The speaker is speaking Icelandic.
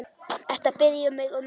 Ertu að biðja um meira.